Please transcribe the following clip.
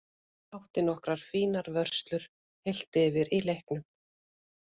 Átti nokkrar fínar vörslur heilt yfir í leiknum.